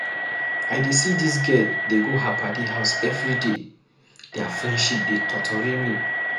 I dey see dis girl dey go her paddy house everyday, their friendship dey totori me.